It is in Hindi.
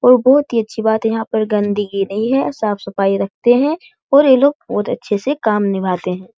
और बहोत ही अच्छी बात है यहाँ पर गंदगी नहीं है साफ-सफाई रखते हैं और ये लोग बहोत अच्छे से काम निभाते हैं।